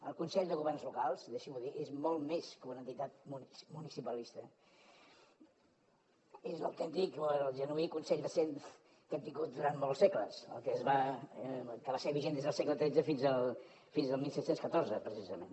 el consell de governs locals deixi m’ho dir és molt més que una entitat municipalista és l’autèntic o el genuí consell de cent que hem tingut durant molts segles que va ser vigent des del segle xiii fins al disset deu quatre precisament